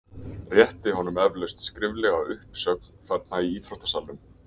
Rétti honum eflaust skriflega uppsögn þarna í íþróttasalnum?